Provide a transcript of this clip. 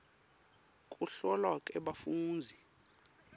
kuhlolwa kwebafundzi